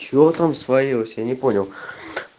что там сварилась я не понял